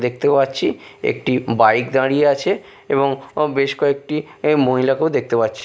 দেখতে পাচ্ছি একটি বাইক দাঁড়িয়ে আছে এবং ও বেশ কয়েকটি এ মহিলাকেও দেখতে পাচ্ছি।